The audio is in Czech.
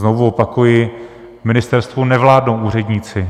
Znovu opakuji, ministerstvu nevládnou úředníci.